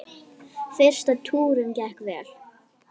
Fyrsti túrinn gekk vel.